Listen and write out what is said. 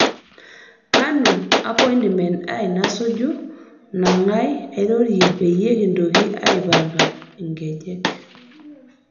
kanu apointimen ai nasuju nagai airorie peyie kintoki aipanga engejek